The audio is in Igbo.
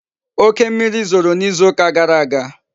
Oke mmiri zoro n'izu uka gara aga